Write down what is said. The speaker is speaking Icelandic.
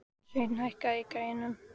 Sveinn, hækkaðu í græjunum.